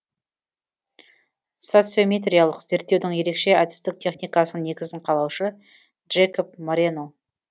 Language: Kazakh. социометриялық зерттеудің ерекше әдістік техникасының негізін қалаушы джекоб морено